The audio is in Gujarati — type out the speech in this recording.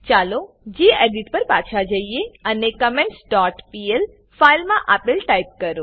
ચાલો ગેડિટ પર પાછા જઈએ અને કમેન્ટ્સ ડોટ પીએલ ફાઈલમા આપેલ ટાઈપ કરો